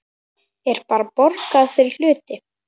Er bara borgað fyrir hluti?